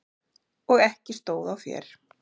Og ekki stóð á þér.